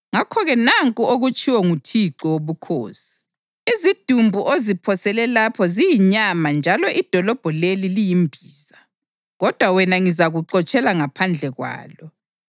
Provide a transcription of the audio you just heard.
Ngakho-ke nanku okutshiwo nguThixo Wobukhosi: “Izidumbu oziphosele lapho ziyinyama njalo idolobho leli liyimbiza, kodwa wena ngizakuxotshela ngaphandle kwalo.